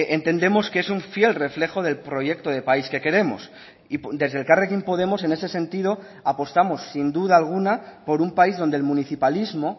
entendemos que es un fiel reflejo del proyecto de país que queremos y desde elkarrekin podemos en ese sentido apostamos sin duda alguna por un país donde el municipalismo